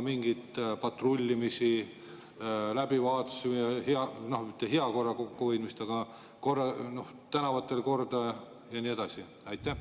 mingeid patrullimisi, läbivaatusi, korra hoidmist tänavatel ja nii edasi?